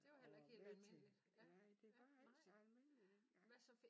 Og var med til nej det var ikke så almindeligt dengang